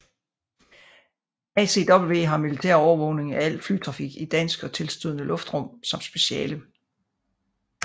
ACW har militær overvågning af al flytrafik i dansk og tilstødende luftrum som speciale